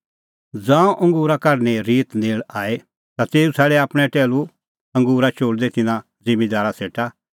ज़ांऊं अंगूरो सिज़न नेल़ आअ ता तेऊ छ़ाडै आपणैं टैहलू अंगूरा चोल़दै तिन्नां ज़िम्मींदारा सेटा